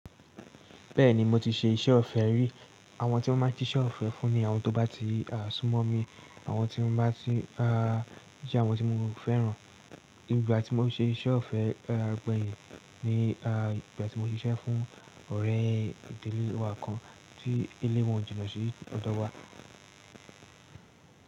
Bẹ́ẹ̀ni mo ti ṣe iṣẹ́ ọ̀fẹ́ rí. Àwọn tí mo máa ń ṣe iṣẹ́ ọ̀fẹ́ fún ni àwọn tó bá ti sún mọ́ mi, àwọn tí mo bá ti rí, àwọn tí mo fẹ́ràn. Ìgbà tí mo ṣe iṣẹ́ ọ̀fẹ́ agbaye ni ìgbà tí mo ṣiṣẹ́ fún ọ̀rẹ́ ìdílé wa kan tí ilé wọn jìnà sí ọdọ́ wa.